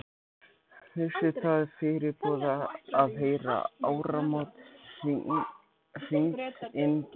Vissi það fyrirboða, að heyra áramót hringd inn tvisvar.